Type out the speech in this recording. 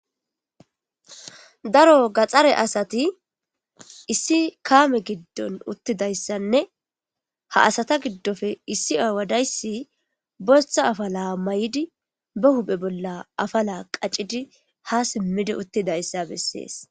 daro gaxxare asati issi kaame giddon uttidayssanne ,ha asata giddoppe issi aawa dayssi boththa afala mayi7idi ba huphphe bolla afala qaccidi ha simmidi uttidayssa bessees.